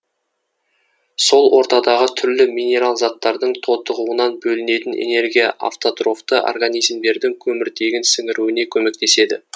сол ортадағы түрлі минерал заттардың тотығуынан бөлінетін энергия автотрофты организмдердің көміртегін сіңіруіне көмектеседі